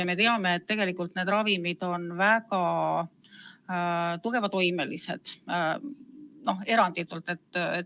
Ja me teame, et tegelikult need ravimid on väga tugeva toimega, eranditult.